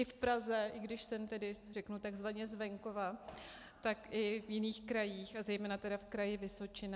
I v Praze, i když jsem tedy, řeknu, takzvaně z venkova, tak i v jiných krajích a zejména tedy v Kraji Vysočina.